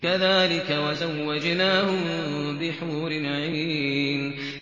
كَذَٰلِكَ وَزَوَّجْنَاهُم بِحُورٍ عِينٍ